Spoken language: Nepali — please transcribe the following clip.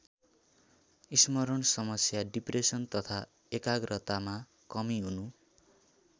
स्मरण समस्या डिप्रेसन तथा एकाग्रतामा कमी हुनु।